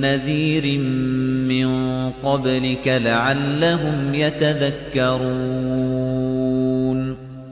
نَّذِيرٍ مِّن قَبْلِكَ لَعَلَّهُمْ يَتَذَكَّرُونَ